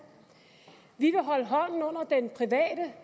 vi